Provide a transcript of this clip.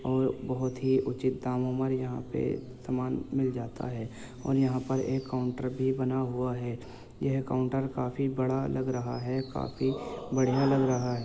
और बहुत ही उचित दामो पर यहाँ पे सामान मिल जाता है और यहाँ पर एक काउंटर भी बना हुआ है यह काउंटर काफी बड़ा लग रहा है काफी बढ़िया लग रहा है।